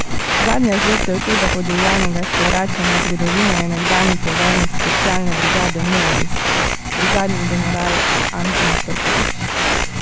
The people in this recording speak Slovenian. Zadnja žrtev tega podivjanega sprevračanja zgodovine je nekdanji poveljnik specialne brigade Moris, brigadni general Anton Krkovič.